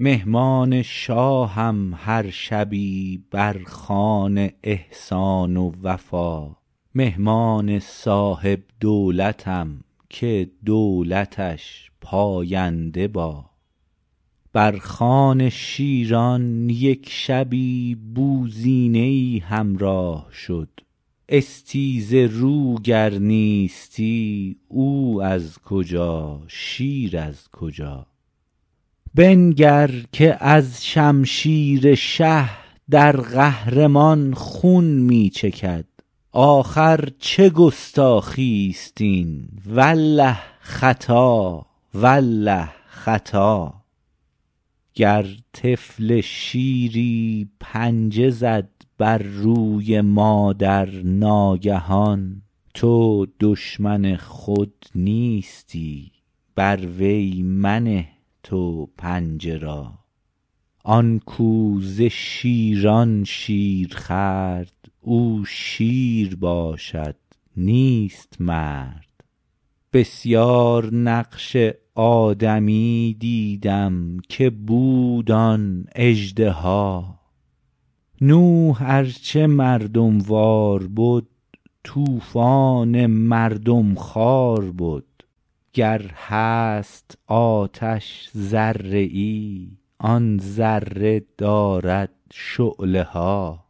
مهمان شاهم هر شبی بر خوان احسان و وفا مهمان صاحب دولتم که دولتش پاینده با بر خوان شیران یک شبی بوزینه ای همراه شد استیزه رو گر نیستی او از کجا شیر از کجا بنگر که از شمشیر شه در قهر مان خون می چکد آخر چه گستاخی است این والله خطا والله خطا گر طفل شیری پنجه زد بر روی مادر ناگهان تو دشمن خود نیستی بر وی منه تو پنجه را آن کاو ز شیران شیر خورد او شیر باشد نیست مرد بسیار نقش آدمی دیدم که بود آن اژدها نوح ار چه مردم وار بد طوفان مردم خوار بد گر هست آتش ذره ای آن ذره دارد شعله ها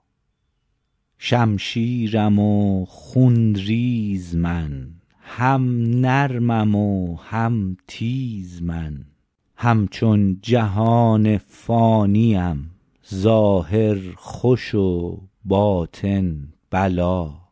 شمشیرم و خون ریز من هم نرمم و هم تیز من همچون جهان فانی ام ظاهر خوش و باطن بلا